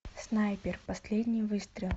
снайпер последний выстрел